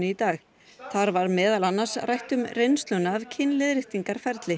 dag þar var meðal annars rætt um reynsluna af